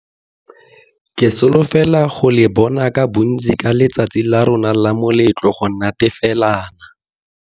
Ke solofela go le bona ka bontsi ka letsatsi la rona la moletlo go natefelana.